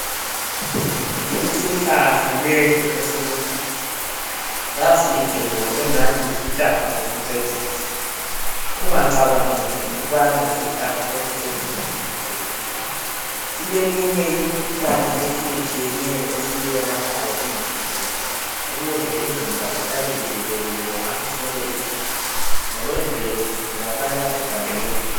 Isihlahla lesi esiluhlaza sasihle bo engathi yisihlahla sokucecisa ungacabangeli ukubana yisihlahla sokucecisa nje kuphela sileminye imikhuhlane etshiyetshiyeneyo esiyelaphayo emzimbeni ukuze imizimba ihlale uvikelekile ngaso sonke isikhathi ngokwemvelo sitholakala egangeni.